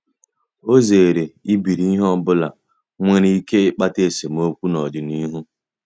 Ọ zere ibiri ihe ọ bụla nwere ike ịkpata esemokwu n’ọdịnihu.